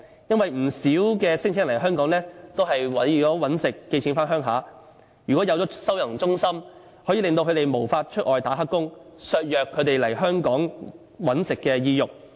因為不少聲請人來香港，都是為了謀生然後寄錢回家鄉，如果設立了收容中心，便可以令他們無法外出打黑工，削弱他們來香港謀生的意欲。